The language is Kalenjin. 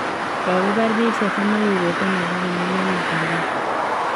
kokibar biik 30 ak kegoten alak 50 eng Mogadishu.